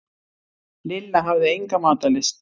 Lilla hafði enga matarlyst.